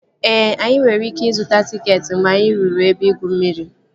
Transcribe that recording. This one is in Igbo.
Ee, anyị nwere ike ịzụta tịketị mgbe anyị ruru ebe igwu mmiri